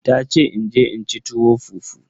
Tace in je in ci tuwo fufu.